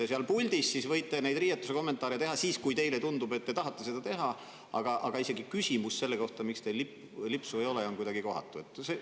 Te seal puldis siis võite riietuse kohta kommentaare teha, kui teile tundub, et te tahate seda teha, aga isegi küsimus selle kohta, miks teil lipsu ei ole, on kuidagi kohatu?